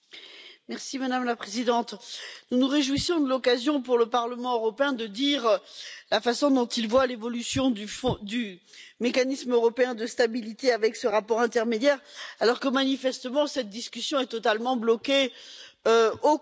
Madame la Présidente, nous nous réjouissons de l'occasion pour le Parlement européen de dire la façon dont il voit l'évolution du mécanisme européen de stabilité avec ce rapport intermédiaire, alors que manifestement, cette discussion est totalement bloquée au Conseil.